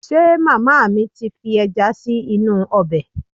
Ṣe màmá mi ti fi ẹja sí inú ọbẹ̀?